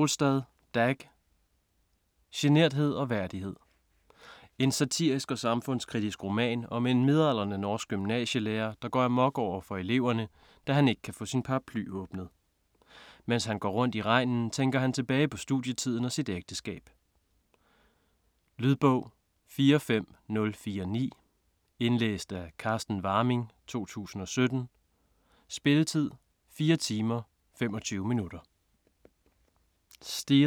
Solstad, Dag: Generthed og værdighed En satirisk og samfundskritisk roman om en midaldrende norsk gymnasielærer der går amok overfor eleverne, da han ikke kan få sin paraply åbnet. Mens han går rundt i regnen tænker han tilbage på studietiden og sit ægteskab. Lydbog 45049 Indlæst af Carsten Warming, 2017. Spilletid: 4 timer, 25 minutter.